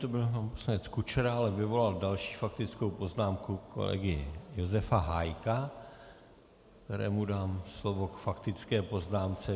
To byl pan poslanec Kučera, ale vyvolal další faktickou poznámku - kolegy Josefa Hájka, kterému dám slovo k faktické poznámce.